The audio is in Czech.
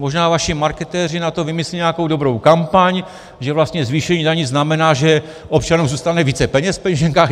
Možná vaši marketéři na to vymyslí nějakou dobrou kampaň, že vlastně zvýšení daní znamená, že občanům zůstane více peněz v peněženkách.